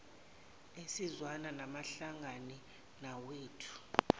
ezizwana awahlangani nawethu